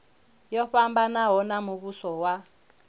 yo fhambanaho ya muvhuso wa